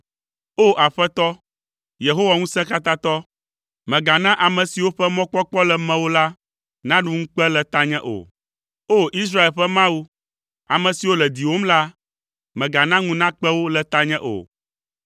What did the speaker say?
O! Aƒetɔ, Yehowa Ŋusẽkatãtɔ, mègana ame siwo ƒe mɔkpɔkpɔ le mewò la naɖu ŋukpe le tanye o. O! Israel ƒe Mawu, ame siwo le diwòm la, mègana ŋu nakpe wo le tanye o.